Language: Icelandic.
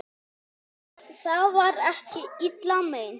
Það var ekki illa meint.